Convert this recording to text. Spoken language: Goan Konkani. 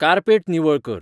कार्पेट निवळ कर